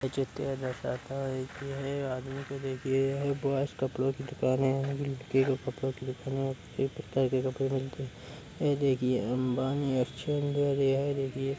यह चित्र यह दर्शाता है कि यह आदमी को देखिए यह बॉयज कपड़ों की दुकान है यह लड़की के कपड़े की दुकान है | यहाँ पर सभी प्रकार के कपड़े मिलते हैं | यह देखिये अम्बानी --